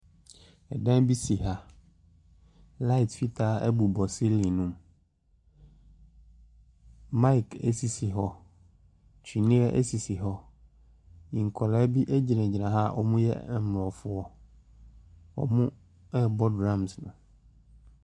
Dan bi si ha, light fitaa bobɔ silling ne mu, mic sisi hɔ, tweneɛ sisi hɔ, nkwadaa bi gyinagyina ha a wɔyɛ aborɔfoɔ, wɔrebɔ drums no.